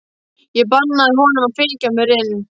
Ég bannaði honum að fylgja mér inn.